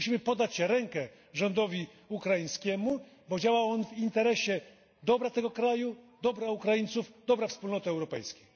Musimy podać rękę rządowi ukraińskiemu, bo działa on w interesie dobra tego kraju, dobra Ukraińców, dobra Wspólnoty Europejskiej.